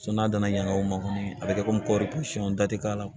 n'a dana ɲɛ o ma kɔni a bɛ kɛ komi kɔɔri porosi dati k'a la